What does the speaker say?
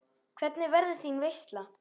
Hvernig verður þín veisla?